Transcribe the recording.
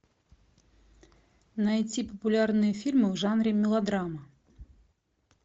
найти популярные фильмы в жанре мелодрама